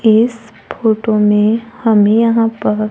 इस फोटो में हमें यहां प--